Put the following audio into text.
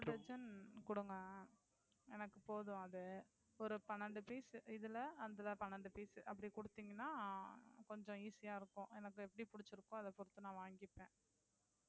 ஒரு dozen குடுங்க எனக்கு போதும் அது. ஒரு பனிரெண்டு piece அதுல பனிரெண்டு piece அப்படி குடுத்தீங்கனா கொஞ்சம் easy ஆஹ் இருக்கும். எனக்கு எப்படி புடிச்சிருக்கோ அத பொறுத்து நான் வாங்கிப்பேன்.